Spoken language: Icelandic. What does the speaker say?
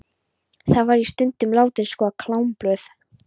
Þar var ég stundum látin skoða klámblöð.